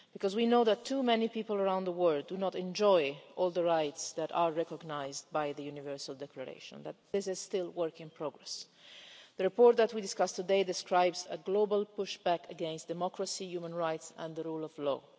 We know that too many people around the world do not enjoy all the rights that are recognised by the Universal Declaration this is still work in progress. The report that we discussed today describes a global pushback against democracy, human rights and the rule of law.